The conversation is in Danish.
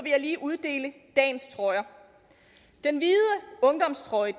jeg lige uddele dagens trøjer den hvide ungdomstrøje